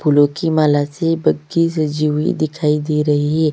फूलों की माला से पक्की सजी हुई दिखाई दे रही है।